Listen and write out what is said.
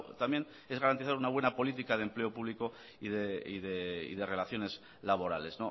también es garantizar una buena política de empleo público y de relaciones laborales